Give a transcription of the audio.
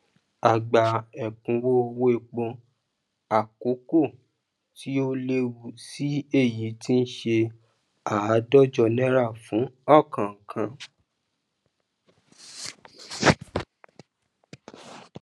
a gba èkúnwó owó èpo àkókó tí ó léwó sí i èyí tí n ṣe àádójọ náírà fún òkòòkan